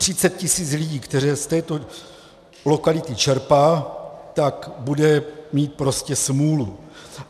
Třicet tisíc lidí, kteří z této lokality čerpají, tak bude mít prostě smůlu.